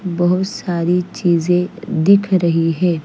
बोहोत सारी चीज़े दिख रही है।